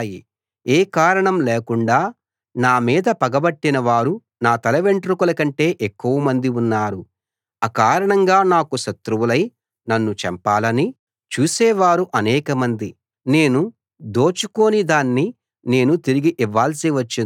ఏ కారణం లేకుండా నా మీద పగబట్టిన వారు నా తలవెంట్రుకలకంటే ఎక్కువమంది ఉన్నారు అకారణంగా నాకు శత్రువులై నన్ను చంపాలని చూసేవారు అనేకమంది నేను దోచుకోని దాన్ని నేను తిరిగి ఇవ్వాల్సి వచ్చింది